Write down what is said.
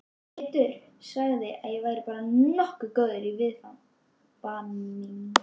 Teitur sagði að væri bara nokkuð góð af viðvaningi